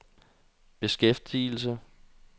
beskæftigelse